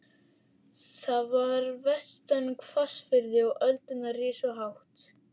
Það var vestan hvassviðri og öldurnar risu hátt.